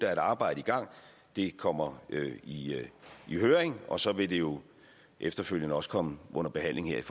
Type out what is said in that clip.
er et arbejde i gang det kommer i høring og så vil det jo efterfølgende også komme under behandling her